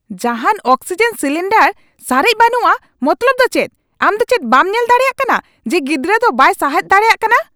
ᱡᱟᱦᱟᱱ oxygen cylinder ᱥᱟᱨᱮᱡ ᱵᱟᱹᱱᱩᱜᱼᱟ ᱢᱚᱛᱞᱚᱵ ᱫᱚ ᱪᱮᱫ ? ᱟᱢ ᱫᱚ ᱪᱮᱫ ᱵᱟᱢ ᱧᱮᱞ ᱫᱟᱲᱮᱭᱟᱜ ᱠᱟᱱᱟ ᱡᱮ ᱜᱤᱫᱨᱟᱹ ᱫᱚ ᱵᱟᱭ ᱥᱟᱸᱦᱮᱫ ᱫᱟᱲᱮᱭᱟᱜ ᱠᱟᱱᱟ ?